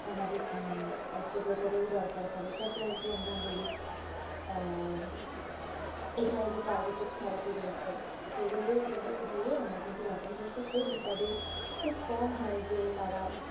আমাদের হুম অস্ত্রোপচার এর ও দরকার পরে যাকে আমরা বলি আহঃ এছাড়া যে targeted tharapy রয়েছে সেগুলো কিন্তু দিয়ে আমরা বাঁচানোর চেষ্টা করি তবে খুব কম হয় যে তারা,